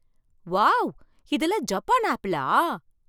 Wow! இதெல்லாம் Japan ஆப்பிளா?